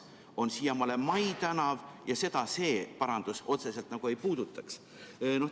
See on siiamaani Mai tänav ja seda see parandus otseselt nagu ei puudutaks.